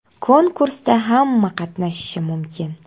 Konkursda hamma qatnashishi mumkin.